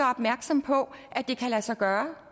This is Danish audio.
opmærksom på at det kan lade sig gøre